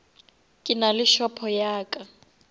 ke nale shopo ya ka